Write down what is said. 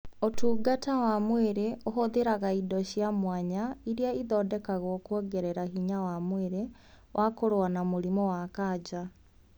ũtungata wa mwĩrĩ ũhũthĩraga indo cia mwanya iria ithondekagwo kuongerera hinya wa mwĩrĩ wa kũrũa na mũrimũ wa kanja.